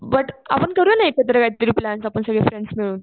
but आपण करूया ना एकत्र काहीतरी प्लॅन्स आपण सगळे फ्रेंड्स मिळून